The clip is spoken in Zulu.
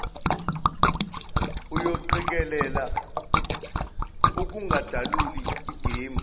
uyoqikelela ukungadaluli igame